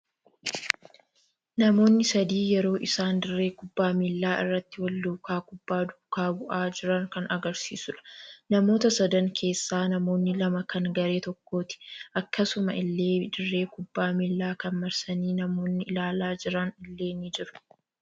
Namoonni sadii yeroo isaan dirree kubbaa miillaa irratti wal duukaa kubbaa duukaa bu'aa jiran kan agarsiisuudha. Namoota sadan keessaa namoonni lama kan garee tokkooti. Akkasuma illee dirree kubbaa miillaa kana marsanii namoonni ilaalaa jiran illee ni jiru.